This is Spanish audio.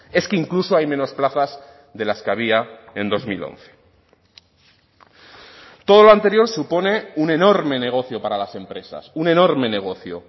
es que incluso hay menos plazas de las que había en dos mil once todo lo anterior supone un enorme negocio para las empresas un enorme negocio